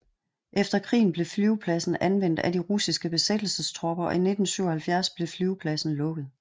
Efter krigen blev flyvepladsen anvendt af de russiske besættelsestropper og i 1977 blev flyvepladsen lukket